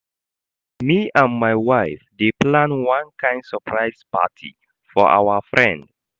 Me and my wife dey plan one kain surprise party for our friend.